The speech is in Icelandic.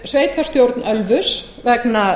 sveitarstjórn ölfuss vegna